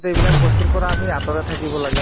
এইবিলাক বস্তুৰ পৰা আমি আতৰত থাকিব লাগিব